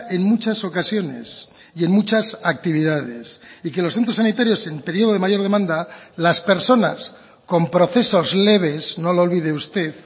en muchas ocasiones y en muchas actividades y que los centros sanitarios en periodo de mayor demanda las personas con procesos leves no lo olvide usted